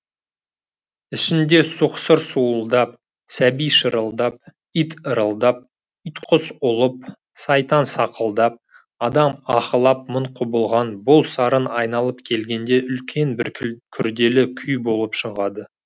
ішінде сұқсыр суылдап сәби шырылдап ит ырылдап итқұс ұлып сайтан сақылдап адам аһылап мың құбылған бұл сарын айналып келгенде үлкен бір күрделі күй болып шығады